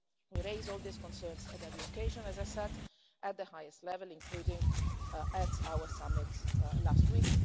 We raise all these concerns at every occasion, as I said, at the highest level, including at our summit last week.